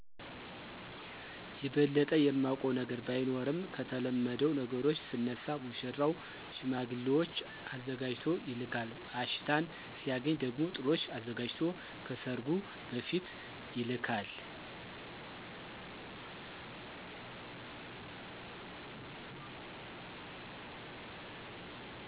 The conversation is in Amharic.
የበለጠ የማውቀው ነገር ባይኖርም ከተለመደው ነገሮች ስነሳ ሙሽራው ሽማግሌዎች አዘጋጅቶ ይልካል አሽታን ሲያገኝ ደሞ ጥሎሽ አዘጋጅቶ ከሰርጉ በፊት ይልካል።